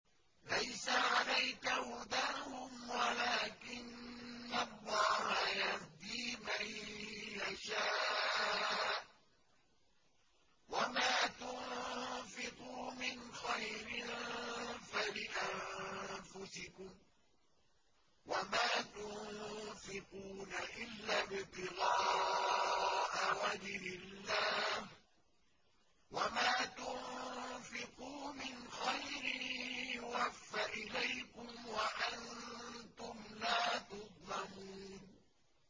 ۞ لَّيْسَ عَلَيْكَ هُدَاهُمْ وَلَٰكِنَّ اللَّهَ يَهْدِي مَن يَشَاءُ ۗ وَمَا تُنفِقُوا مِنْ خَيْرٍ فَلِأَنفُسِكُمْ ۚ وَمَا تُنفِقُونَ إِلَّا ابْتِغَاءَ وَجْهِ اللَّهِ ۚ وَمَا تُنفِقُوا مِنْ خَيْرٍ يُوَفَّ إِلَيْكُمْ وَأَنتُمْ لَا تُظْلَمُونَ